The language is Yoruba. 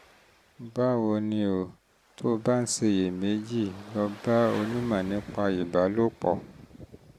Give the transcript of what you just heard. báwo ni o? tó o bá ń ṣiyèméjì lọ bá onímọ̀ nípa bá onímọ̀ nípa ìbálòpọ̀